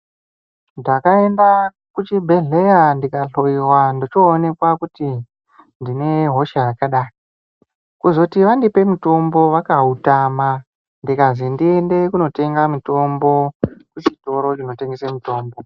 Ndakaenda kuchibhedhleya ndikahloiwa ndochoonekwa kuti ndine hosha yakadai. Kuzoti vandipe mutombo vakautama ndikazi ndiende kunotenga mutombo kuchitoro chinotengesa mutombo.